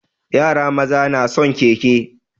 Yara maza na son keke.